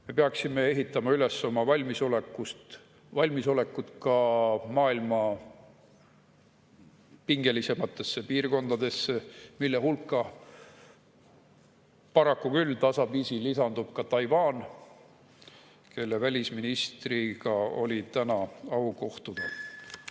Me peaksime ehitama üles oma valmisolekut ka maailma pingelisematesse piirkondadesse, mille hulka paraku küll tasapisi lisandub Taiwan, kelle välisministriga oli täna au kohtuda.